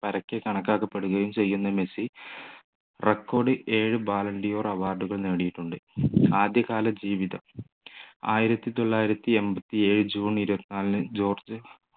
പരക്കെ കണക്കാക്കപ്പെടുകയും ചെയ്യുന്ന മെസ്സി recordballon d'or award കൾ നേടിയിട്ടുണ്ട് ആദ്യകാല ജീവിതം ആയിരത്തി തൊള്ളായിരത്തി എണ്പത്തിയേഴു ജൂൺ ഇരുപത്തിനാലിൽ ജോർജ്‌